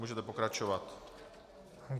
Můžete pokračovat.